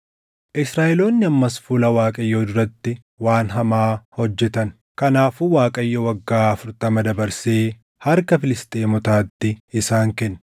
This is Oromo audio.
Israaʼeloonni ammas fuula Waaqayyoo duratti waan hamaa hojjetan; kanaafuu Waaqayyo waggaa afurtama dabarsee harka Filisxeemotaatti isaan kenne.